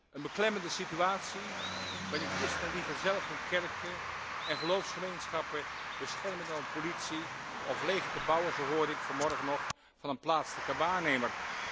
Een beklemmende situatie, waarin christenen liever zelf hun kerken en geloofsgemeenschappen beschermen dan op politie of leger te bouwen zo hoorde ik vanmorgen nog van een plaatselijke waarnemer.